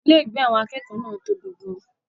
Ilégbèé àwọn akẹ́kọ̀ọ́ náà tóbi gan-an.